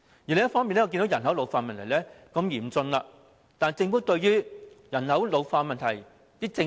另一方面，我看到人口老化問題日趨嚴峻，但政府對於人口老化問題有何政策？